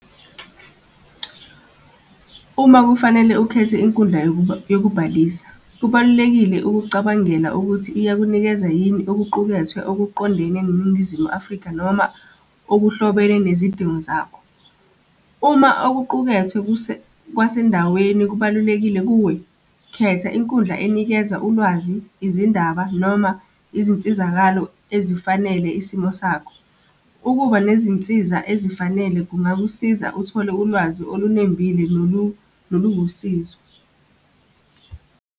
Uma kufanele ukhethe inkundla yokubhalisa, kubalulekile ukucabangela ukuthi iyakunikeza yini okuqukethwe okuqondene neNingizimu Afrika noma okuhlobene nezidingo zakho. Uma okuqukethwe kwasendaweni kubalulekile kuwe, khetha inkundla enikeza ulwazi, izindaba noma izinsizakalo ezifanele isimo sakho. Ukuba nezinsiza ezifanele kungakusiza uthole ulwazi olunembile noluwusizo.